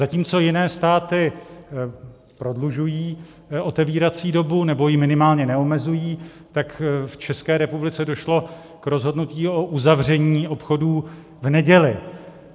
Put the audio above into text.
Zatímco jiné státy prodlužují otevírací dobu, nebo ji minimálně neomezují, tak v České republice došlo k rozhodnutí o uzavření obchodů v neděli.